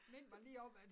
Mind mig lige om at